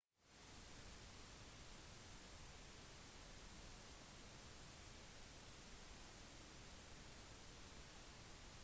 den multietniske republikken moldova har lidd av etniske konflikter